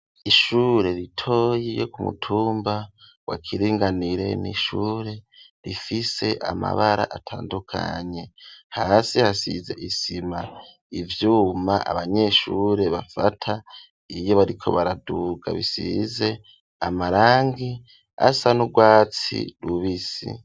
Ishure ritoye ryo ku mutumba wa Kiringanire nishure rifise amabara atandukanye ,hasi hasize isima ,ivyuma abanyeshure bafata iyo bariko baraduga bisize amarangi asa n'urwatsi rubisi.